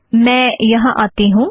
मैं यहाँ आती हूँ